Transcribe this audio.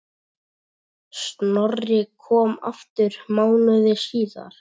Snorri kom aftur mánuði síðar.